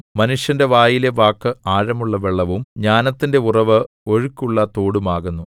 മനുഷ്യന്റെ വായിലെ വാക്ക് ആഴമുള്ള വെള്ളവും ജ്ഞാനത്തിന്റെ ഉറവ് ഒഴുക്കുള്ള തോടും ആകുന്നു